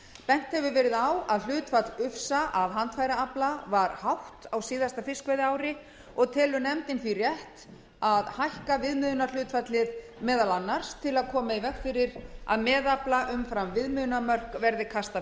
bent hefur verið á að hlutfall ufsa af handfæraafla var hátt á síðasta fiskveiðiári og telur nefndin því rétt að hækka viðmiðunarhlutfallið meðal annars til að koma í veg fyrir að meðafla umfram viðmiðunarmörk verði kastað